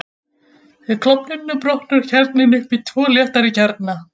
Við klofnunina brotnar kjarninn upp í tvo léttari kjarna.